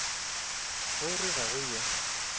o re ga go yo